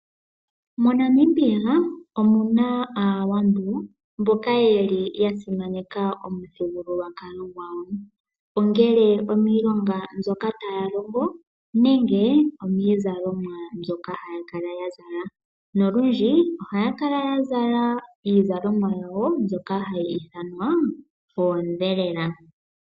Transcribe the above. Mo Namibia omuna aawambo mboka yeli ya simaneka omuthigululwakalo gwawo, ongele omiilonga mbyoka taya longo nenge omiizalomwa mbyoka haya kala ya zala. Nolundji ohaya kala ya zala iizalomwa yawo mbyoka hayi ithanwa oodhelela.